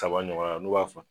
Kaba ɲɔgɔnna n'u b'a fa